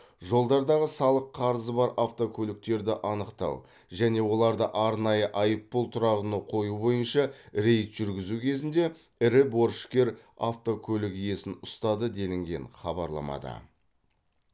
жолдардағы салық қарызы бар автокөліктерді анықтау және оларды арнайы айыппұл тұрағына қою бойынша рейд жүргізу кезінде ірі борышкер автокөлік иесін ұстады делінген хабарламада